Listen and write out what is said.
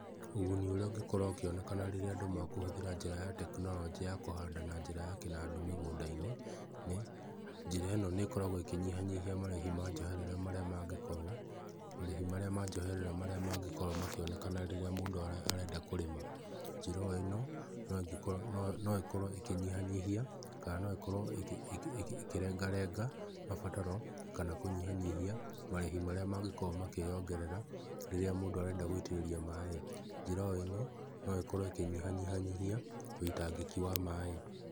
Ũguni ũrĩa ũngĩkorwo ũkĩonekana rĩrĩa andũ makũhũthĩra njĩra ya tekinoronjĩ ya kũhanda na njĩra ya kĩnandũ mĩgũnda-inĩ nĩ, njĩra ĩno nĩ ĩkoragwo ĩkĩnyihanyihia marĩhi ma njoherera marĩa mangĩkorwo, marĩhi marĩa ma njoherera marĩa mangĩkorwo makĩonekana rĩrĩa mũndũ arenda kũrĩma. Njĩra o ĩno no ĩkorwo ĩkĩnyihanyihia kana no ĩkorwo ĩkĩrengarenga mabataro kana kũnyihanyihia marĩhi marĩa mangĩkorwo makĩyongerera rĩrĩa mũndũ arenda gũitĩrĩria maĩ. Njĩra o ĩno no ĩkorwo ĩkĩnyihanyihia ũitangĩki wa maĩ.